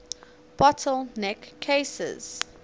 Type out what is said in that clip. bottle neck cases